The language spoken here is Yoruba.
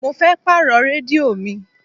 Mo fẹ́ pàrọ̀ rédíò mi.